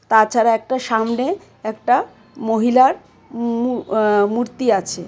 তাছাড়া একটা সামনে একটা মহিলার মূউ অ মূর্তি আছে।